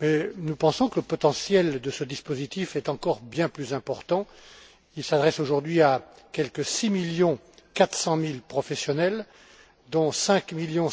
Nous pensons que le potentiel de ce dispositif est encore bien plus important. Il s'adresse aujourd'hui à quelque 6,4 millions professionnels, dont 5,7 millions